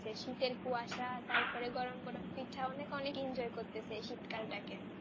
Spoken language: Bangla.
সেই শীত এর কুয়াশা তারপরে গরম গরম পিঠা অনেক অনেক enjoy করতেছে এই শীত কাল তাকে